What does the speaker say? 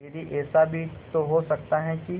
दीदी ऐसा भी तो हो सकता है कि